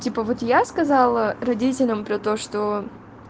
типа вот я сказала родителям про то что